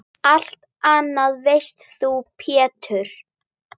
Allt annað veist þú Pétur.